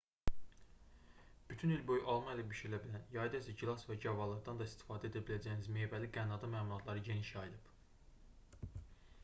bütün il boyu alma ilə bişirilə bilən yayda isə gilas və gavalılardan da istifadə edə biləcəyiniz meyvəli qənnadı məmulatları geniş yayılıb